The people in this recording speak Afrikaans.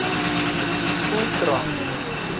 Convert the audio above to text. voelkrans